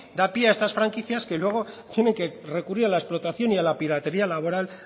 da pie a estas franquicias que luego tienen que recurrir a la explotación y a la piratería laboral